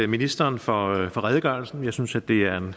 ministeren for redegørelsen jeg synes at det er en